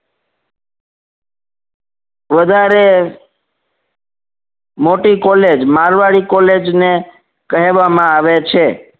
વધારે મોટી college Marwari college ને કહેવામાં આવે છે